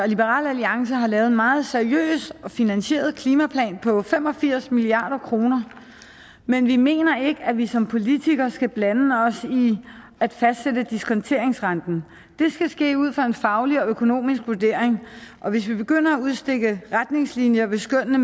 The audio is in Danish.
liberal alliance har lavet en meget seriøs og finansieret klimaplan på fem og firs milliard kr men vi mener ikke at vi som politikere skal blande os i at fastsætte diskonteringsrenten det skal ske ud fra en faglig og økonomisk vurdering hvis vi begynder at udstikke retningslinjer vil skønnene